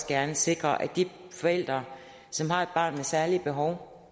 gerne sikre at de forældre som har et barn med særlige behov